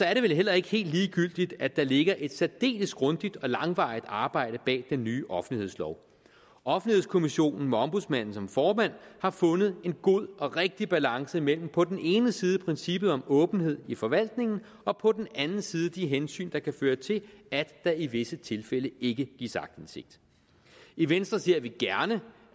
er det vel heller ikke helt ligegyldigt at der ligger et særdeles grundigt og langvarigt arbejde bag den nye offentlighedslov offentlighedskommissionen med ombudsmanden som formand har fundet en god og rigtig balance mellem på den ene side princippet om åbenhed i forvaltningen og på den anden side de hensyn der kan føre til at der i visse tilfælde ikke gives aktindsigt i venstre ser vi gerne